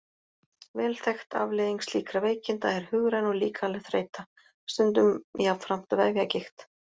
Vel þekkt afleiðing slíkra veikinda er hugræn og líkamleg þreyta, stundum jafnframt vefjagigt.